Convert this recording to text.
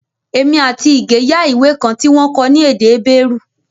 Èmi àti Ige yá ìwé kan tí wọ́n kọ ní èdè Hébérù